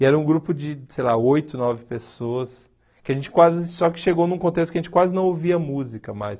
E era um grupo de, sei lá, oito, nove pessoas, que a gente quase, só que chegou num contexto que a gente quase não ouvia música mais.